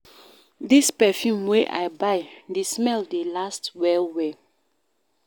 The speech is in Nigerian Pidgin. Dis perfume wey I buy, di smell dey last well-well.